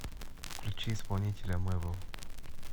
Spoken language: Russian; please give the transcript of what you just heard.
включи исполнителя мэвл